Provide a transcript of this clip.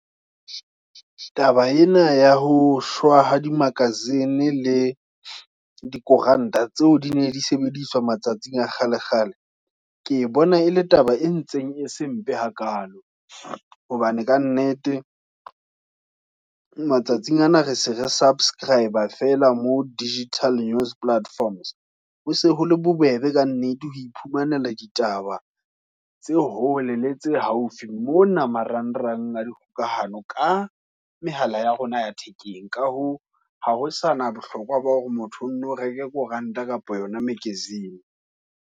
taba ena ya ho shwa ha di Magazine le dikoranta, tseo di ne di sebediswa matsatsing a kgale kgale, ke e bona e le taba e ntseng e sempe hakalo, hobane kannete matsatsing ana re se re subscrib-a fela mo digital news platforms. Hose ho le bobebe ka nnete ho iphumanela ditaba, tse hole le tse haufi, mona marang rang a dikgokahanyo ka mehala ya rona ya thekeng. Ka hoo ha ho sa na bohlokwa, ba hore motho o nno reke koranta kapa yona magazine.